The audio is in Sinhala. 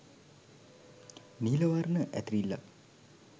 නීල වර්ණ ඇතිරිල්ලක්